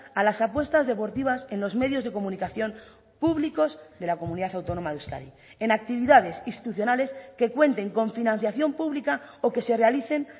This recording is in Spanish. a las apuestas deportivas en los medios de comunicación públicos de la comunidad autónoma de euskadi en actividades institucionales que cuenten con financiación pública o que se realicen